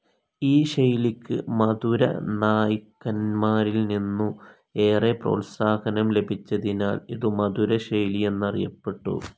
ഈ ശൈലിക്ക് മധുരനായ്ക്കന്മാരിൽനിന്നു ഏറെ പ്രോത്സാഹനം ലഭിച്ചതിനാൽ ഇതു മധുരശൈലി എന്നറിയപ്പെട്ടു.